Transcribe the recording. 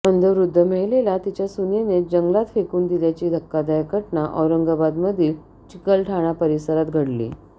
अंध वृद्ध महिलेला तिच्या सूनेनेच जंगलात फेकून दिल्याची धक्कादायक घटना औरंगाबादमधील चिकलठाणा परिसरात घडली